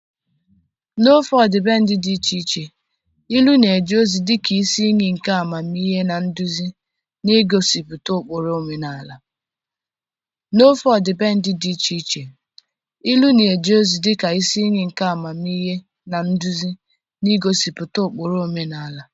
N'ofe ọdịbendị dị iche iche, ilu na-eje ozi dị ka isi iyi nke amamihe na nduzi, na-egosipụta ụkpụrụ, omenala.